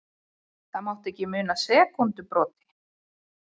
Það mátti ekki muna sekúndubroti.